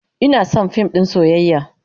Ina son fim din soyayya